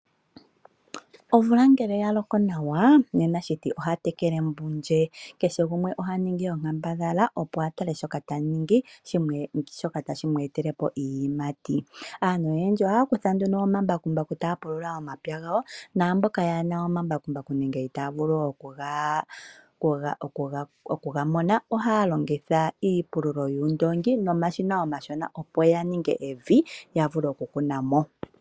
Omvula ngele oya loko nawa, nena shiti oha tekele mbundje. Kehe gumwe oha ningi onkambadhala, opo a tale shoka ta ningi shoka tashi mu etele po iiyimati. Aantu oyendji ohaya kutha nduno omambakumbaku taya pulula omapya gawo naamboka kaye na omambakumbaku nenge itaya vulu okuga mona ohaya longitha iipululo yoondoongi nomashina omashona, opo ya ninge evi ya vule okukuna mo.